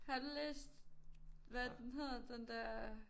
Har du læst hvad er det den hedder den der